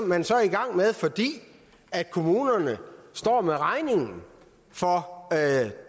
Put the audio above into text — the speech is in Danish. man så i gang med fordi kommunerne står med regningen for